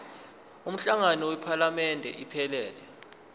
umhlangano wephalamende iphelele